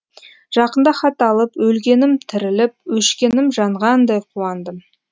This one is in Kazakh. жақында хат алып өлгенім тіріліп өшкенім жанғандай қуандым